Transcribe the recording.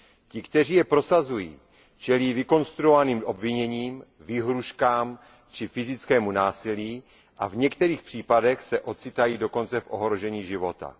Ti, kteří je prosazují, čelí vykonstruovaným obviněním, výhružkám či fyzickému násilí a v některých případech se ocitají dokonce v ohrožení života.